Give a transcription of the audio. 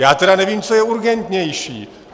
Já tedy nevím, co je urgentnější.